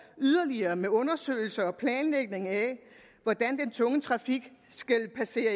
yderligere med undersøgelser og planlægning af hvordan den tunge trafik skal passere